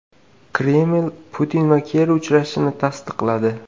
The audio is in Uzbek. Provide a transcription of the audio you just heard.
Kreml Putin va Kerri uchrashishini tasdiqladi.